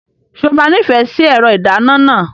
Ṣé o máa nífẹ̀ẹ́ sí ẹ̀rọ ìdáná náà?